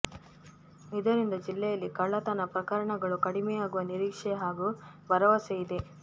ಇದರಿಂದ ಜಿಲ್ಲೆಯಲ್ಲಿ ಕಳ್ಳತನ ಪ್ರಕರಣಗಳು ಕಡಿಮೆಯಾಗುವ ನಿರೀಕ್ಷೆ ಹಾಗೂ ಭರವಸೆ ಇದೆ